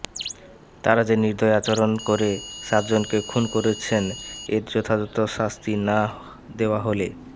তাঁরা যে নির্দয় আচরণ করে সাতজনকে খুন করেছেন এর যথাযথ শাস্তি না দেওয়া হলে